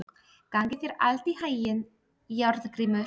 Gangi þér allt í haginn, Járngrímur.